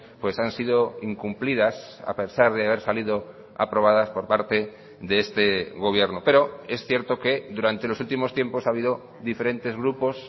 pues han sido incumplidas a pesar de haber salido aprobadas por parte de este gobierno pero es cierto que durante los últimos tiempos ha habido diferentes grupos